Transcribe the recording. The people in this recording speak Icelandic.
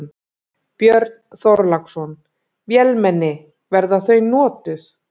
Björn Þorláksson: Vélmenni, verða þau notuð?